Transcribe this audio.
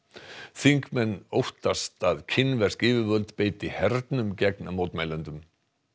þingmenn óttast að kínversk yfirvöld beiti hernum gegn mótmælendum